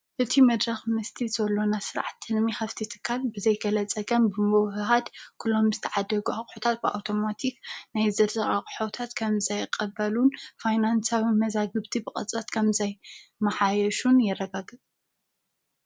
እቱ መድራኽ ምስቲ ዘሎና ሥርዕ ተንሚ ኸፍቲ ትካል ብዘይከለ ጸቀም ብምበህሃድ ኲሎም ምዝ ተዓደጕሑታት ብኣውቶማቲኽ ናይ ዘድሪቓ ቕሖውታት ከም ዛይቐበሉን ፋይናንሳዊ መዛ ግብቲ ብቐጻት ከምዘይ መሓየሹን የረጋግጥ።